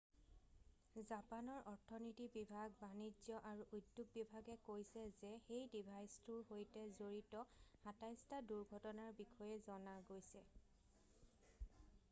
জাপানৰ অৰ্থনীতি বিভাগ বাণিজ্য আৰু উদ্যোগ বিভাগে meti কৈছে যে সেই ডিভাইচটোৰ সৈতে জড়িত ২৭টা দুৰ্ঘটনাৰ বিষয়ে জনা গৈছে।